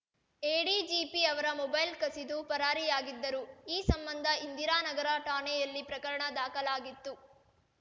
ADGP ಅವರ mobile ಕಸಿದು ಪರಾರಿಯಾಗಿದ್ದರು ಈ ಸಂಬಂಧ ಇಂದಿರಾ ನಗರ ಠಾಣೆಯಲ್ಲಿ ಪ್ರಕರಣ ದಾಖಲಾಗಿತ್ತು